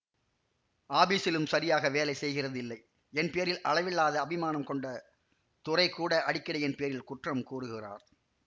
ஆபீஸிலும் சரியாக வேலை செய்கிறதில்லை என் பேரில் அளவில்லாத அபிமானம் கொண்ட துரை கூட அடிக்கடி என் பேரில் குற்றம் கூறுகிறார்